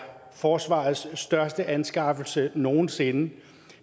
forsvarets største anskaffelse nogen sinde